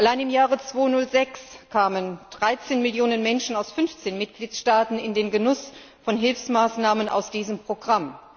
Allein im Jahr 2006 kamen 13 Millionen Menschen aus 15 Mitgliedstaaten in den Genuss von Hilfsmaßnahmen aus diesem Programm.